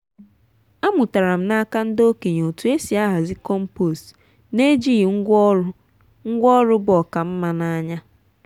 amụtara m n’aka ndị okenye otú e si ahazi compost n’ejighị ngwá ọrụ ngwá ọrụ bu oká nma n’anya.